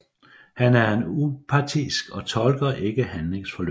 Han er upartisk og tolker ikke handlingsforløbet